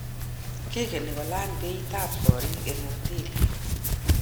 Kigeni kolany beit ab korik eng hoteli